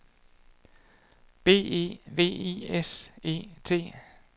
B E V I S E T